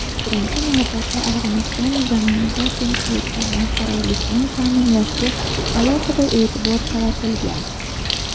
birinchi navbatda Afg‘oniston zaminida tinchlik va barqarorlikni ta’minlashga alohida e’tibor qaratilgan.